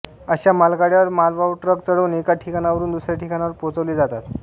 अशा मालगाड्यांवर मालवाहू ट्रक चढवून एका ठिकाणावरून दुसऱ्या ठिकाणावर पोहोचवले जातात